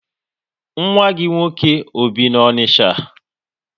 Nwa gị nwoke ọ bi na Onicha?